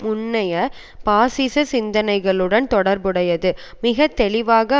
முன்னய பாசிச சிந்தனைகளுடன் தொடர்புடையது மிக தெளிவாக